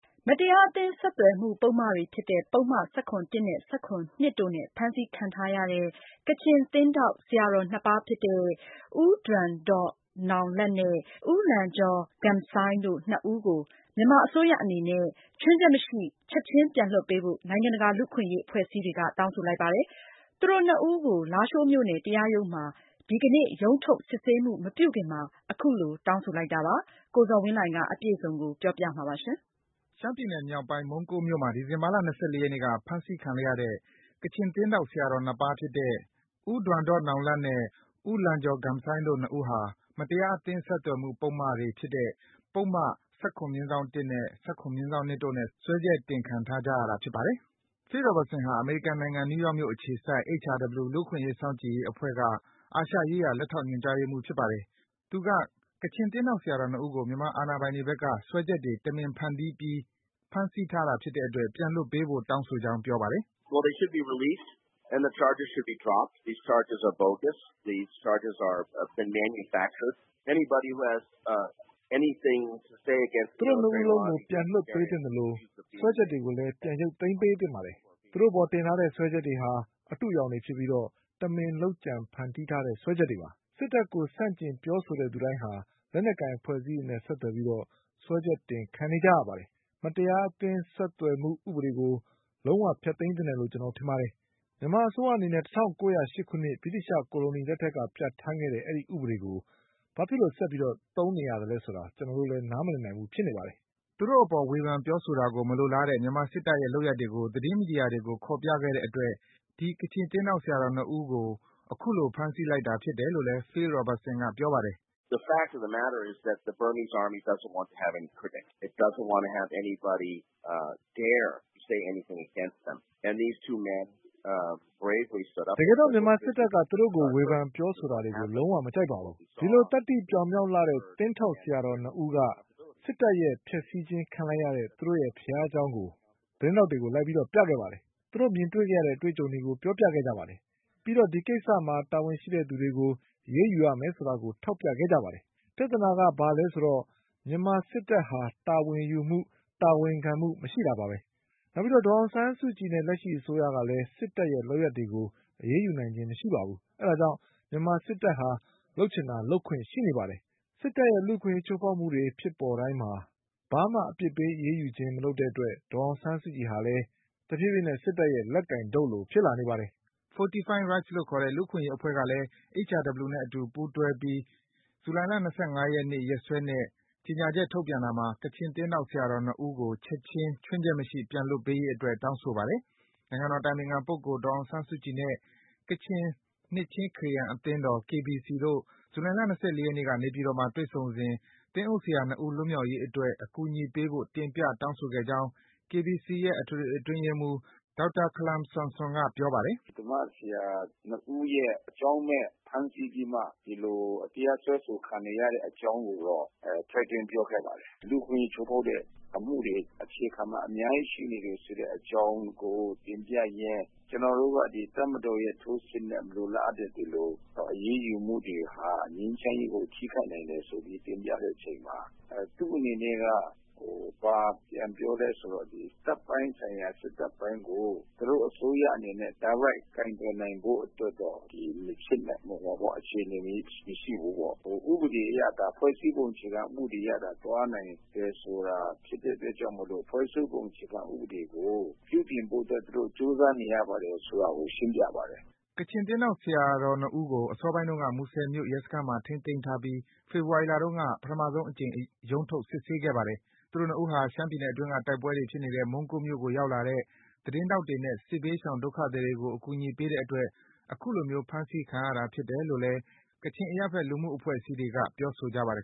မတရားအသင်းဆက်သွယ်မှု ပုဒ်မတွေဖြစ်တဲ့ ပုဒ်မ ၁၇/၁ နဲ့ ၁၇/၂ တို့နဲ့ ဖမ်းဆီးခံထားရတဲ့ ကချင်သင်းထောက် ဆရာတော် နှစ်ပါးဖြစ်တဲ့ ဦးဒွမ်ဒေါ့နောင်လတ် နဲ့ ဦးလန်ဂျော်ဂမ်ဆိုင်းတို့ ၂ ဦးကို မြန်မာအစိုးရအနေနဲ့ ခြွင်းချက်မရှိ ချက်ခြင်း ပြန်လွှတ်ပေးဖို့ နိုင်ငံတကာ လူ့အခွင့်အရေးအဖွဲ့အစည်းတွေက တောင်းဆိုလိုက်ပါတယ်။ သူတို့ ၂ ဦးကို လားရှိုးမြို့နယ်တရားရုံးမှာ ဒီကနေ့ ရုံးထုတ် စစ်ဆေးမှု မပြုခင်မှာ အခုလို တောင်းဆိုလိုက်တာလည်း ဖြစ်ပါတယ်။ အပြည့်အစုံကိုတော့ ကိုဇော်ဝင်းလှိုင်က တင်ပြပေးပါမယ်။ ရှမ်းပြည်နယ်မြောက်ပိုင်း၊ မုန်းကိုးမြို့မှာ ဒီဇင်ဘာလ ၂၄ ရက်နေ့က ဖမ်းဆီးခံလိုက်ရတဲ့ ကချင်သင်းထောက် ဆရာတော် နှစ်ပါးဖြစ်တဲ့ ဦးဒွမ်ဒေါ့နောင်လတ် နဲ့ ဦးလန်ဂျော်ဂမ်ဆိုင်းတို့ ၂ ဦးဟာ မတရားအသင်း ဆက်သွယ်မှု ပုဒ်မတွေဖြစ်တဲ့ ပုဒ်မ ၁၇/၁ နဲ့ ၁၇/၂ တို့နဲ့ စွဲချက် တင်ခံထားကြရတာ ဖြစ်ပါတယ်။ Phil Robertson ဟာ အမေရိကန်နိုင်ငံ၊ နယူးယောက်မြို့ အခြေစိုက် HRW လူ့အခွင့်အရေး စောင့်ကြည့်ရေးအဖွဲ့က အာရှရေးရာ လက်ထောက် ညွန်ကြားရေးမှူး ဖြစ်ပါတယ်။ သူက ကချင် သင်းထောက် ဆရာတော် ၂ ဦးကို မြန်မာအာဏာပိုင်တွေဘက်က စွဲချက်တွေ တမင်ဖန်တီးပြီး ဖမ်းဆီးထားတာဖြစ်တဲ့အတွက် ပြန်လွတ်ပေးဖို့ တောင်းဆိုကြောင်း ပြောပါတယ်။ “သူတို့ ၂ ဦးစလုံးကို ပြန်လွတ်ပေးသင့်သလို စွဲချက်တွေကို ပြန်ရုပ်သိမ်းပေးသင့်ပါတယ်။ သူတို့အပေါ် တင်ထားတဲ့ စွဲချက်တွေဟာ အတုအယောင်တွေဖြစ်ပြီး တမင် လုပ်ကြံ ဖန်တီးထားတဲ့ စွဲချက်တွေ ဖြစ်ပါတယ်။ စစ်တပ်ကို ဆန့်ကျင် ပြောဆိုတဲ့သူတိုင်းဟာ လက်ကိုင်ဖွဲ့အစည်းတွေနဲ့ ဆက်သွယ်ဆိုပြီး စွဲချက်တင်ခံနေကြရတာပါ။ မတရားအသင်းဆက်သွယ်မှု ဥပဒေကို လုံး၀ ဖျက်သိမ်းသင့်တယ်လို့ ကျနော်တို့ ထင်ပါတယ်။ မြန်မာအစိုးရအနေနဲ့ ၁၉၀၈ ခုနှစ်၊ ဗြိတိသျှကိုလိုနီထက်က ပြဌာန်းခဲ့တဲ့ ဒီ ဥပဒေကို ဘာကြောင့် ဆက်ပြီး အသုံးပြုနေသလဲဆိုတာ ကျနော်တို့လည်း နားမလည်နိုင်ဘူး ဖြစ်နေတယ်။” သူတို့အပေါ် ဝေဖန် ပြောဆိုတာကို မလိုလားတဲ့ မြန်မာစစ်တပ်ရဲ့ လုပ်ရပ်တွေကို သတင်းမီဒီယာတွေကို ခေါ်ပြခဲ့တဲ့အတွက် ဒီ ကချင်သင်းထောက် ဆရာတော် ၂ ဦး အခုလို ဖမ်းဆီးခံရတာဖြစ်တယ်လို့လည်း Phil Robertson က ပြောပါတယ်။ “တကယ်တော့ မြန်မာစစ်တပ်က သူတို့ကို ဝေဖန် ပြောဆိုတာကို လုံး၀ မလိုလားပါဘူး။ ဒီ သတ္တိပြောင်မြောက်လှတဲ့ သင်းထောက် ဆရာတော် ၂ ဦးက စစ်တပ်ရဲ့ ဖျက်ဆီးခြင်းခံလိုက်ရတဲ့ သူတို့ ဘုရားကျောင်းကို သတင်းထောက်တွေကို လိုက်ပြခဲ့တယ်၊ သူတို့ မြင်တွေ့ခဲ့ရတဲ့ အတွေ့အကြုံတွေကို ပြောပြခဲ့ကြတယ်။ ပြီးတော့ ဒီကိစ္စမှာ တာဝန်ရှိသူတွေကို အရေးယူရမယ်ဆိုတာကို ထောက်ပြခဲ့ကြတယ်လေ။ ပြဿနာက ဘာလဲဆိုတော့ မြန်မာ စစ်တပ်ဟာ တာဝန်ယူမှု၊ တာဝန်ခံမှု မရှိတာပါဘဲ။ နောက်ပြီးတော့ ဒေါ်အောင်ဆန်းစုကြည်နဲ့ လက်ရှိ အစိုးရကလည်း စစ်တပ်ရဲ့ လုပ်ရပ်တွေကို အရေးယူနိုင်ခြင်း မရှိပါဘူး။ ဒါကြောင့် မြန်မာစစ်တပ်ဟာ လုပ်ချင်တာ လုပ်ခွင့်ရှိနေပါတယ်။ စစ်တပ်ရဲ့ လူ့အခွင့်အရေး ချိုးဖောက်မှုတွေဖြစ်ပေါ်တိုင်း ဘာမှ အပြစ်ပေး အရေးယူခြင်း မလုပ်တဲ့အတွက် ဒေါ်အောင်ဆန်းစုကြည်ဟာလည်း တဖြည်းဖြည်းနဲ့ စစ်တပ်ရဲ့ လက်ကိုင်တုတ်လို ဖြစ်လာနေပါတယ်။” Fortify Rights လို့ခေါ်တဲ့ လူ့အခွင့်အရေး အဖွဲ့ကလည်း HRW နဲ့အတူ ပူးတွဲ ဇူလိုင်လ ၂၅ ရက်နေ့ ရက်စွဲနဲ့ ကြေညာချက်ထုတ်ပြန်ပြီး ကချင် သင်းထောက် ဆရာတော် ၂ ဦး ခြွင်းချက်မရှိ ချက်ခြင်း ပြန်လွတ်ပေးရေးအတွက် တောင်းဆိုလိုက်ပါတယ်။ နိုင်ငံတော်အတိုင်ပင်ခံပုဂ္ဂိုလ် ဒေါ်အောင်ဆန်းစုကြည်နဲ့ ကချင်နှစ်ခြင်းခရစ်ယာန်အသင်းတော် KBC တို့ ဇူလိုင်လ ၂၄ ရက်နေ့က နေပြည်တော်မှာ တွေ့ဆုံစဉ် သင်းအုပ်ဆရာ ၂ ဦး လွတ်မြောက်ရေးအတွက် အကူအညီပေးဖို့ တင်ပြ တောင်းဆိုခဲ့ကြောင်း KBC ရဲ့အထွေထွေအတွင်းရေးမှူး ဒေါက်တာခလမ်ဆမ်ဆွန်က ပြောပါတယ်။ “ ဓမ္မဆရာ ၂ ဦးရဲ့အကြောင်းမဲ့ ဖမ်းဆီးပြီးမှ ဒီလို တရားစွဲဆို ခံနေရတဲ့ အကြောင်းကိုတော့ ထည့်သွင်းပြောခဲ့ပါတယ်။ လူ့အခွင့်အရေး ချိုးဖေါက်တဲ့ အမှုတွေ အခြေခံမှာ အများကြီးရှိနေတယ် ဆိုတဲ့ အကြောင်းကို တင်ပြရင်း ကျနော်တို့က ဒီတပ်မတော်ရဲ့ ထိုးစစ်နဲ့ မလိုလားအပ်တဲ့ ဒီလို အရေးယူမှုတွေဟာ ငြိမ်းချမ်းရေးကို ထိခိုက်နိုင်တယ်ဆိုပြီး တင်ပြတဲ့အချိန်မှာ သူ့အနေနဲ့က ဘာပြန်ပြောလည်းဆိုတော့ ဒီတပ်ပိုင်းဆိုင်ရာ စစ်တပ်ပိုင်းကို သူတို့အစိုးအနေနဲ့ ဒါရိုက် ကိုင်တွယ်နိုင်ဖို့တော့ မဖြစ်နိုင်ဘူးပေါ့။ ဟိုဟာပေါ့ အခြေအနေမရှိဘူးပေါ့။ ဥပဒေအရ ဒါ ဖွဲ့စည်းပုံ အခြေခံ ဥပဒေအရသာ သွားနိုင်တယ်ဆိုတာ ဖြစ်တဲ့အတွက်ကြောင့် ဖွဲ့စည်းပုံ အခြေခံ ဥပဒေကို ပြုပြင်ဖို့အတွက် သူတို့ ကြိုးစားနေရပါတယ် ဆိုတာကို ရှင်းပြပါတယ်။ ” ကချင်းသင်းထောက် ဆရာတော် ၂ ဦးကို အစောပိုင်းတုန်းက မူဆယ်မြို့ ရဲစခန်းမှာ ထိန်းသိမ်းထားပြီး ဖေဖော်ဝါရီလတုန်းက ပထမဆုံးအကြိမ် ရုံးထုတ် စစ်ဆေးခဲ့ပါတယ်။ သူတို့ ၂ ဦးဟာ ရှမ်းပြည်နယ်အတွင်းက တိုက်ပွဲတွေ ဖြစ်နေတဲ့ မုန်းကိုးမြို့ကိုရောက်လာတဲ့ သတင်းထောက်တွေနဲ့ စစ်ဘေးရှောင် ဒုက္ခသည်တွေကို အကူအညီပေးခဲ့တဲ့အတွက် အခုလိုမျိုး ဖမ်းစီးခံရတာဖြစ်တယ်လို့ ကချင်အရပ်ဖက်လူ့အဖွဲ့အစည်းတွေက ပြောဆိုကြပါတယ်